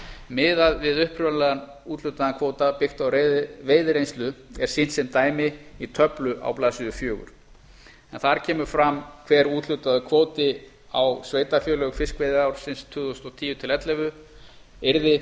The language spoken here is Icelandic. miðað við upphaflega úthlutaðan kvóta byggt á veiðireynslu er sýnt sem dæmi í töflu á blaðsíðu fjögur en þar kemur fram hver úthlutaður kvóti á sveitarfélög fiskveiðiársins tvö þúsund og tíu til tvö þúsund og ellefu yrði